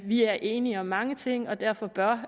vi er enige om mange ting og derfor bør